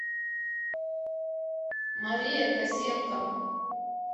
мария косенко